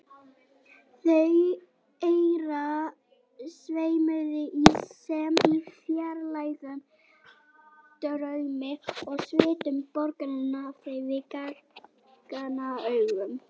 Augu þeirra sveimuðu sem í fjarlægum draumi og svitinn bogaði af þeim við gagnaugun.